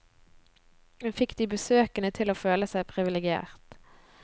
Hun fikk de besøkende til å føle seg privilegert.